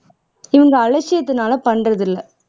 இவங்க அலட்சியத்துனால பண்றது இல்லை